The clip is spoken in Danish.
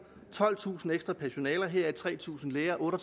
tolvtusind ekstra personaler heraf tre tusind læger og